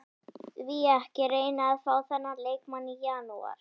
Því ekki að reyna að fá þennan leikmann í janúar?